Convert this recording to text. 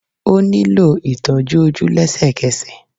Ó nílò ìtọ́jú ojú lésèkesè